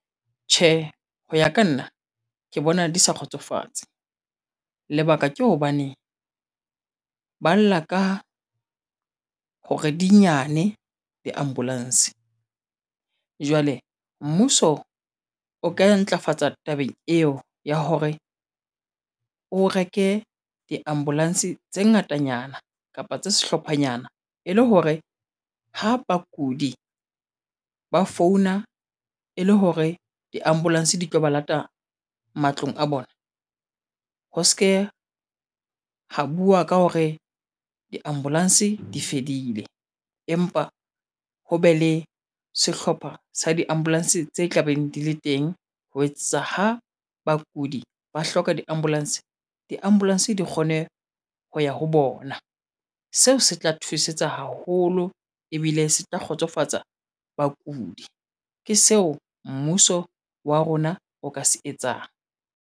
Tjhe, ho ya ka nna ke bona di sa kgotsofatse lebaka ke hobane ba lla ka hore di nyane di-ambulance jwale mmuso o ka ntlafatsa tabeng eo ya hore o reke diambulance tse ngatanyana kapa tse sehlophanyana e le hore ho bakudi ba founa e le hore di-ambulance di tlo ba lata matlong a bona. Ho se ke ho bua ka hore diambulance di fedile empa ho be le sehlopha sa diambulance tse tla beng di le teng. Ho etsa ho bakudi ba hloka di-ambulance, di-ambulence, di kgone ho ya ho bona ona seo se tla thusetsa haholo ebile se tla kgotsofatsa bakudi ke seo mmuso wa rona o ka se etsang.